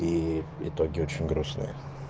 и итоги очень грустные